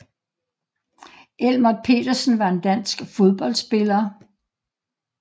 Elmert Petersen var en dansk fodboldspiller